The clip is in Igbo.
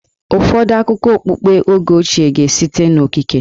Ụfọdụ akụkọ okpukpe oge ochie ga-esite n'okike.